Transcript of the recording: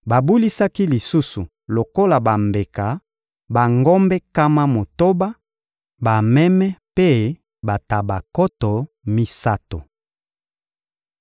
Babulisaki lisusu lokola bambeka bangombe nkama motoba, bameme mpe bantaba nkoto misato.